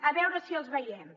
a veure si els veiem